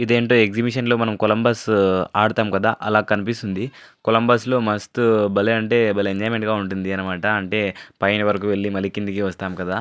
ఇదేంటో ఎగ్జిబిషన్లో మనం కొలంబస్ ఆడుతాం కదా అలా కనిపిస్తుంది. కొలంబస్ లో మస్తు భలే అంటే భలే ఎంజాయ్మెంట్ గా ఉంటుంది. అన్నమాట అంటే పైన వరకు వెళ్లి మళ్ళి కిందకి వస్తాను కదా --